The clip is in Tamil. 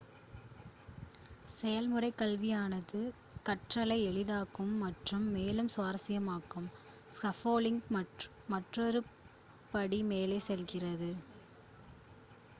செயல்முறைக்கல்வியானது கற்றலை எளிதாக்கும் மற்றும் மேலும் சுவாரசியமானதாக்கும் ஸ்கஃபோல்டிங் மற்றொரு படி மேலே செல்கிறது